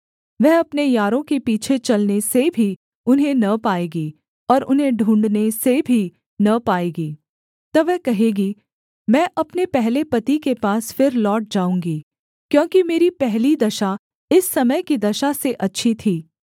वह अपने यारों के पीछे चलने से भी उन्हें न पाएगी और उन्हें ढूँढ़ने से भी न पाएगी तब वह कहेगी मैं अपने पहले पति के पास फिर लौट जाऊँगी क्योंकि मेरी पहली दशा इस समय की दशा से अच्छी थी